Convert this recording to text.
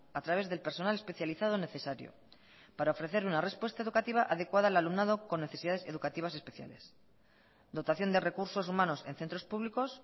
a través del personal especializado necesario para ofrecer una respuesta educativa adecuada al alumnado con necesidades educativas especiales dotación de recursos humanos en centros públicos